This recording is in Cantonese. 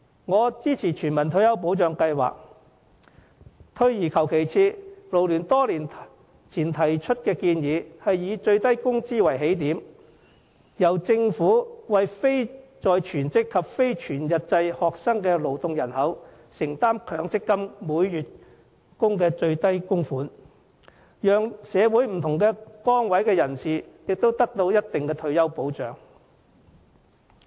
我支持全民退休保障計劃，退而求其次，勞聯多年前提出建議，以最低工資為起點，由政府為非在職及非全日制學生的勞動人口承擔強積金每月的最低供款，讓社會上不同崗位的人士也得到一定的退休保障。